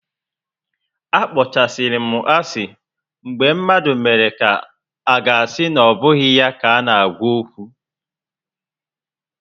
A kpọchasịrị m asị mgbe mmadụ mere ka aga asị na obụghị ya ka m na-agwa okwu